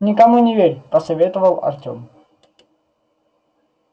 никому не верь посоветовал артем